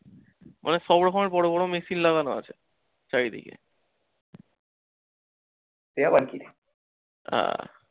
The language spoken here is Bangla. মানে সব রকমের বড় বড় machine লাগানো আছে চারিদিকে। হ্যাঁ।